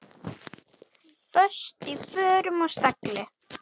Föst í frösum og stagli.